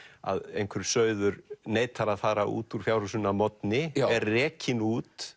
að einhver sauður neitar að fara út úr fjárhúsinu að morgni er rekinn út